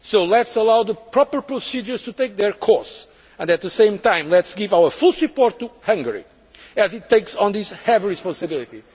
European Union. Let us allow the proper procedures to take their course and, at the same time, let us give our full support to Hungary as it takes on this heavy